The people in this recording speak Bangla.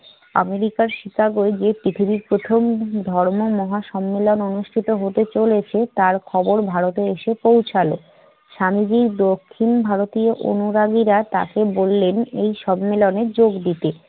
আমেরিকার শিকাগোয় যে পৃথিবীর প্রথম ধর্ম মহাসম্মেলন অনুষ্ঠিত হতে চলেছে তার খবর ভারতে এসে পৌঁছালো। স্বামীজি দক্ষিণ ভারতীয় অনুরাগীরা তাকে বললেন এই সম্মেলনে যোগ দিতে।